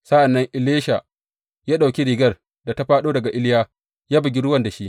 Sa’an nan Elisha ya ɗauki rigar da ta fāɗo daga Iliya ya bugi ruwan da shi.